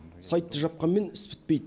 сайтты жапқанмен іс бітпейді